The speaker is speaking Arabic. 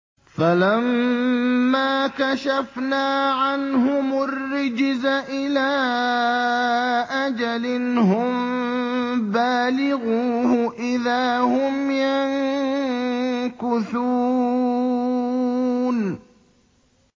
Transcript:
فَلَمَّا كَشَفْنَا عَنْهُمُ الرِّجْزَ إِلَىٰ أَجَلٍ هُم بَالِغُوهُ إِذَا هُمْ يَنكُثُونَ